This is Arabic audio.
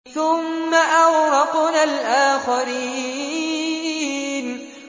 ثُمَّ أَغْرَقْنَا الْآخَرِينَ